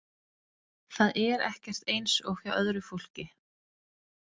Það er ekkert eins og hjá öðru fólki.